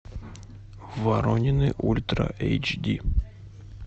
воронины ультра эйч ди